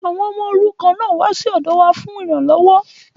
Àwọn ọmọ òrukàn náà wá sí ọ̀dọ wa fún ìranlọ́wọ́